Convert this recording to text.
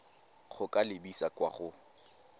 go ka lebisa kwa go